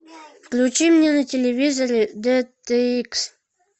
включи мне на телевизоре дт икс